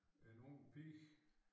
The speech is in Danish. En ung pige